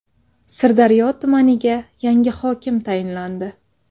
Sirdaryo tumaniga yangi hokim tayinlandi.